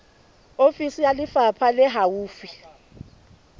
ofisi ya lefapha le haufi